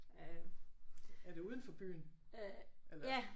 Er det uden for byen?